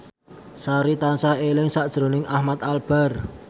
Sari tansah eling sakjroning Ahmad Albar